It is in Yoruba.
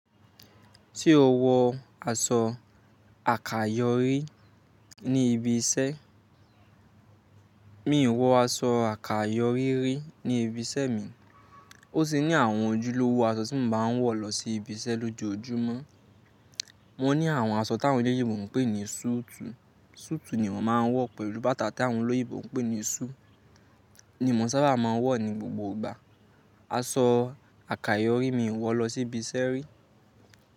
Sè o wọ aṣọ àkayòrí ní ibi iṣẹ́, mi ò wọ aṣọ àkayòrí rí ní ibi iṣẹ́ mi. Ó ṣe ní àwọn ojúlówó aṣọ tí mo máa ń wọ̀ lọ sí ibi iṣẹ́ lójoójúmọ́. Wọ́n ní àwọn aṣọ tà àwọn elèyíbò ń pè ní sùùtù. Sùùtù ni wọ́n máa ń wọ̀ pẹ̀lú bàtà tàwọn olóyìǹ bò ń pè ní sùù ni mò ń sábà máa ń wọ̀ ní gbogbo ìgbà. Aṣọ àkayòrí mi ò wọ̀ lọ sí ibi iṣẹ́ rí.